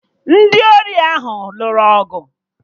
Ndị ori ahụ nụrụ ọgụ